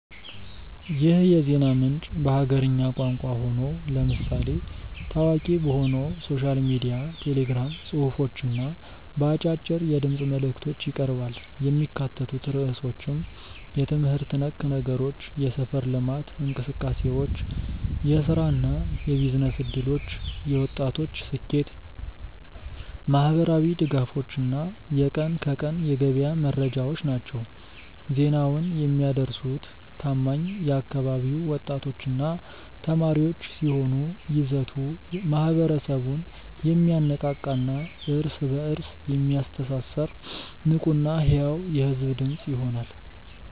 ይህ የዜና ምንጭ በሀገርኛ ቋንቋ ሆኖ፣ ለምሳሌ ታዋቂ በሆነው ሶሻል ሚዲያ ቴሌግራም ጽሑፎች እና በአጫጭር የድምፅ መልዕክቶች ይቀርባል። የሚካተቱት ርዕሶችም የትምህርት ነክ ነገሮች፣ የሰፈር ልማት እንቅሰቃሴዎች፣ የሥራና የቢዝነስ ዕድሎች፣ የወጣቶች ስኬት፣ ማኅበራዊ ድጋፎች እና የቀን ከቀን የገበያ መረጃዎች ናቸው። ዜናውን የሚያደርሱት ታማኝ የአካባቢው ወጣቶችና ተማሪዎች ሲሆኑ፣ ይዘቱ ማኅበረሰቡን የሚያነቃቃና እርስ በእርስ የሚያስተሳስር ንቁና ሕያው የሕዝብ ድምፅ ይሆናል።